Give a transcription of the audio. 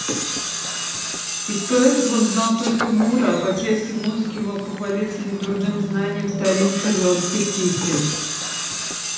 из поэтов он знал только мура а по части музыки мог похвалиться недурным знанием старинных ирландских песен